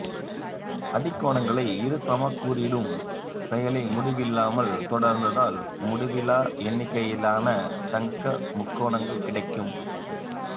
அடிக்கோணங்களை இருசமக்கூறிடும் செயலை முடிவில்லாமல் தொடர்ந்தால் முடிவிலா எண்ணிக்கையிலான தங்க முக்கோணங்கள் கிடைக்கும்